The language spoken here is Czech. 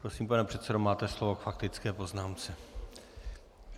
Prosím, pane předsedo, máte slovo k faktické poznámce.